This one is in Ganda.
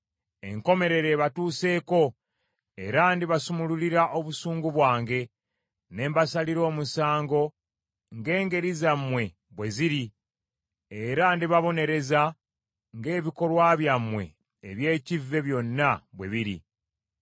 Enkomerero ebatuuseeko era ndibasumulurira obusungu bwange, ne mbasalira omusango ng’engeri zammwe bwe ziri era ndibabonereza ng’ebikolwa byammwe eby’ekkive byonna bwe biri.